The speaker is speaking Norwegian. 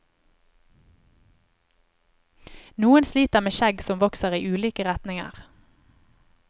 Noen sliter med skjegg som vokser i ulike retninger.